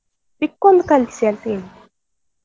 Pic ಒಂದ್ ಕಳ್ಸಿ ಅಂತ ಹೇಳಿದ್ದು.